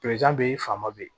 be yen faama be yen